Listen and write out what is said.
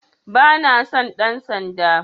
Bana son ɗan sanda